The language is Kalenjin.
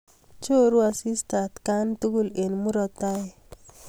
Choruu asista atkai tugul eng murot ne tai.